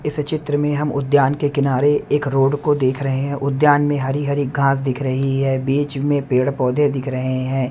इस चित्र में हम उद्यान के किनारे एक रोड को देख रहे हैं उद्यान में हरी-हरी घास दिख रही है बीच में पेड़-पौधे दिख रहे हैं।